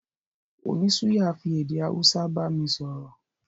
Oní suya fi èdè Hausa bámi sọ̀rọ̀